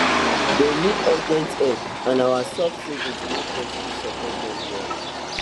dem need urgent help and our soft savings make us fit support dem well